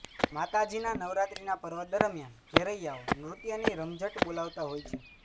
માતાજીના નવરાત્રીના પર્વ દરમિયાન ઘેરૈયાઓ નૃત્યની રમઝટ બોલાવતા હોય છે